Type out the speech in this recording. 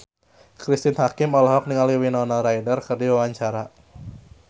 Cristine Hakim olohok ningali Winona Ryder keur diwawancara